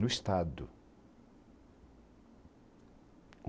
No Estado.